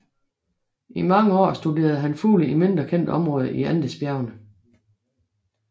I mange år studerede han fugle i mindre kendte områder i Andesbjergene